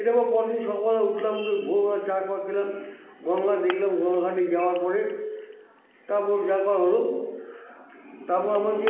এটা আমরা পরদিন সকাল বেলা উঠলাম ভোরবেলা চা ফা খেলাম গঙ্গা দেখলাম গঙ্গার ঘাটে জাওয়ার পরে তারপর যা করার হলো তারপর আমাকে